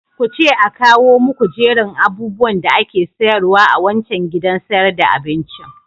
Kuce a kawo muku jerin abubuwan da ake sayarwa a wancan gidan sayar da abincin.